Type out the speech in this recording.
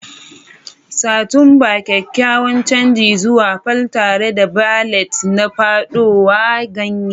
Satumba: kyakkyawan canji zuwa fall tare da ballet na fadowa ganye.